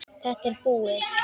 Þetta er búið.